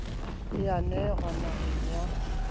e a nenwa naheng ya